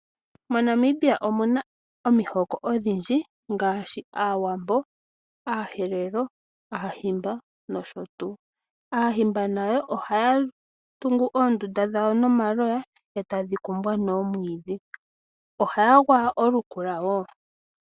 MoNamibia omuna omihoko odhindji ngaashi aawambo, aaherero, aahimba nosho tuu. Aahimba nayo ohaya tungu oondunda dhawo nomaloya e tadhi kumbwa noomwiidhi, ohaya gwaya olukula woo.